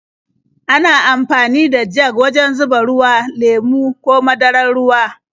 Ana amfani da jag wajen zuba ruwa, lemo ko madarar ruwa.